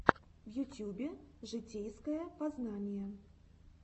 в ютьюбе житейское познание